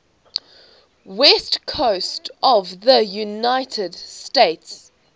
west coast of the united states